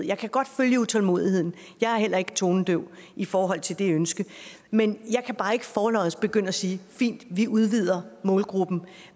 jeg kan godt følge utålmodigheden jeg er heller ikke tonedøv i forhold til det ønske men jeg kan bare ikke forlods begynde at sige fint vi udvider målgruppen